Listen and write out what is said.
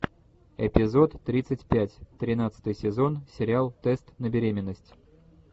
эпизод тридцать пять тринадцатый сезон сериал тест на беременность